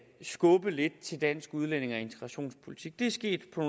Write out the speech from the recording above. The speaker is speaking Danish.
skubbe lidt til dansk udlændinge og integrationspolitik det er sket på